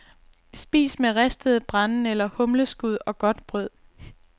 Spis med ristede brændenælder, humleskud og godt brød.